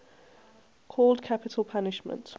called capital punishment